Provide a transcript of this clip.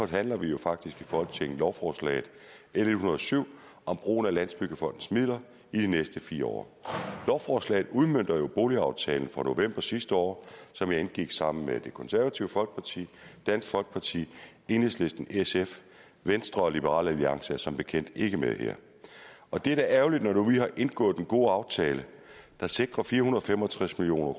forhandler vi jo faktisk i folketinget lovforslaget l en hundrede og syv om brugen af landsbyggefondens midler i de næste fire år lovforslaget udmønter jo boligaftalen fra november sidste år som jeg indgik sammen med det konservative folkeparti dansk folkeparti enhedslisten og sf venstre og liberal alliance er som bekendt ikke med her og det er da ærgerligt når vi nu lige har indgået en god aftale der sikrer fire hundrede og fem og tres million